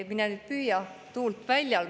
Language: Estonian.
Mine püüa tuult väljal.